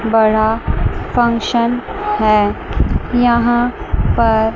बड़ा फंक्शन है यहां पर--